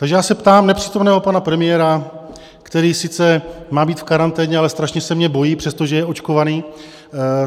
Takže já se ptám nepřítomného pana premiéra, který sice má být v karanténě, ale strašně se mě bojí, přestože je očkovaný.